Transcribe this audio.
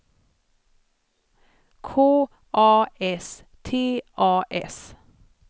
K A S T A S